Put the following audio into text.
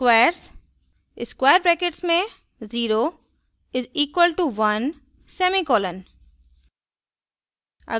squares 0 = 1;